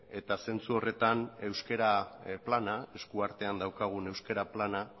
eta zentzu horretan euskara plana eskuartean daukagun euskara plana